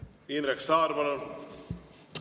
Indrek Saar, palun!